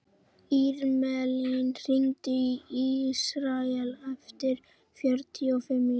Irmelín, hringdu í Ísrael eftir fjörutíu og fimm mínútur.